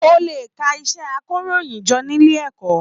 O lè kà iṣẹ àkòróyinjọ́ nílé ẹ̀kọ́.